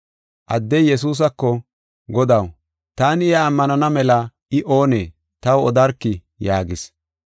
Addey Yesuusako, “Godaw, taani iya ammanana mela I oonee? Taw odarkii?” yaagis.